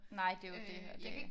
Nej det er jo det ja